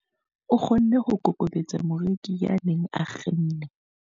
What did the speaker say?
O kgonne ho kokobetsa moreki ya neng a kgenne.